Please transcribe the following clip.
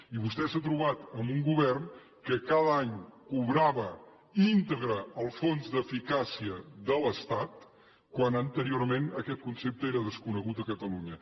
i vostè s’ha trobat amb un govern que cada any cobrava íntegre el fons d’eficàcia de l’estat quan anteriorment aquest concepte era desconegut a catalunya